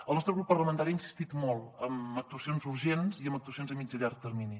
el nostre grup parlamentari ha insistit molt en actuacions urgents i en actuacions a mitjà i llarg termini